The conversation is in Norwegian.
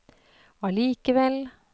allikevel